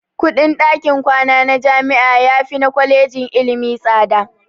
Kuɗin ɗakin kwana na jami'a yafi na kwalejin ilimi tsada.